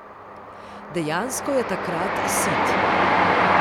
Dejansko je takrat sit.